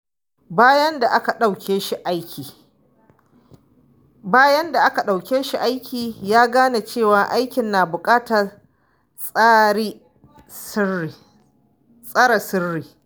Bayan da aka ɗauke shi aiki, ya gane cewa aikin na buƙatar tsare sirri.